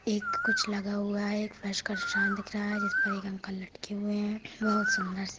एक कुछ लगा हुआ है एक दिख रहा है जिस पर एक अंकल लटके हुए है बहुत सुन्दर--